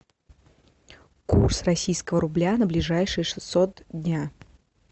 курс российского рубля на ближайшие шестьсот дня